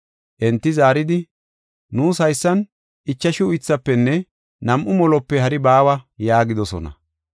Enti zaaridi, “Nuus haysan ichashu uythaafenne nam7u molope hari baawa” yaagidosona.